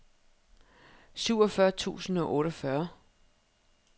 syvogfyrre tusind og otteogfyrre